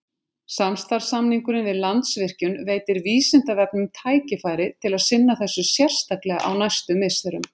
Samstarfssamningurinn við Landsvirkjun veitir Vísindavefnum tækifæri til að sinna þessu sérstaklega á næstu misserum.